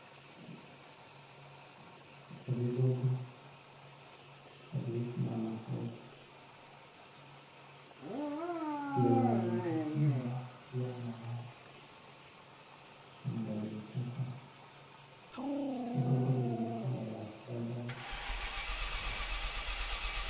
Ebigogo ebiliku nh'amatooke byeghendheike ku nhumba ey'amabaati ate nga ya itaka, ebogogo bili mu kala ya kilagala.